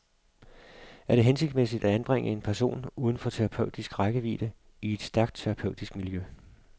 Er det hensigtsmæssigt at anbringe en person uden for terapeutisk rækkevidde i et stærkt terapeutisk miljø?